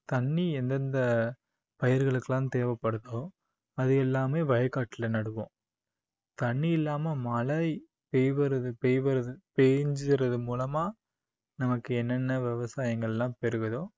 தண்ணி எந்தெந்த பயிர்களுக்கெல்லாம் தேவைப்படுதோ அது எல்லாமே வயக்காட்டுல நடுவோம் தண்ணி இல்லாம மழை பெய்வுறது~ பெயவது~ பெய்ஞ்சுறது மூலமா நமக்கு என்னென்ன விவசாயங்கள் எல்லாம் பெருகுதோ